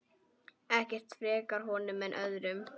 Ekkert frekar honum en öðrum.